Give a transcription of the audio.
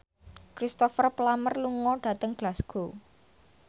Cristhoper Plumer lunga dhateng Glasgow